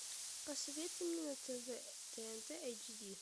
посоветуй мне на тв тнт эйч ди